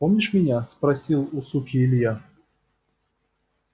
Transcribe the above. помнишь меня спросил у суки илья